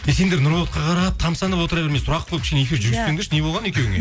сендер нұрболатқа қарап тамсанып отыра бермей сұрақ қойып кішкене эфирді жүргізсеңдерші не болған екеуіңе